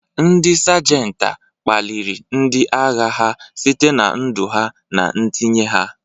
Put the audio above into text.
Ndị Sajenta kpaliri ndị agha ha site na ndu ha na ntinye ha..